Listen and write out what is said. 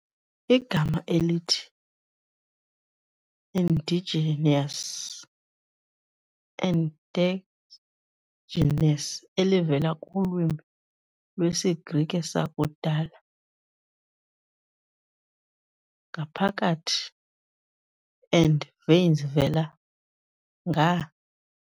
Igama elithi endogenous, ɛnˈdɒdʒɪnəs, elivela kulwimi lwesiGrike sakudala ἐνδο-, "ngaphakathi" and -γενής, "vela nga-".